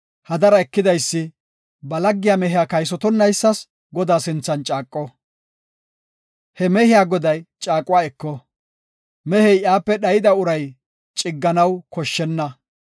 hadaro ekidaysi ba laggiya mehiya kaysotonaysa Godaa sinthan caaqo. He mehiya goday caaquwa eko; mehey iyape dhayida uray cigganaw koshshenna.